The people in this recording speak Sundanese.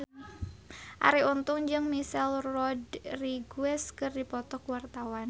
Arie Untung jeung Michelle Rodriguez keur dipoto ku wartawan